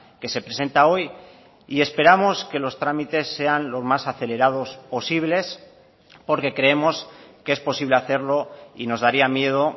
que se presenta hoy y esperamos que los trámites sean lo más acelerados posibles porque creemos que es posible hacerlo y nos daría miedo